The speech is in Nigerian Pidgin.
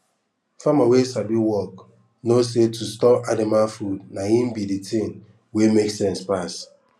farmer wey sabi work no say to store anima food na im bi de tin wey make sense pass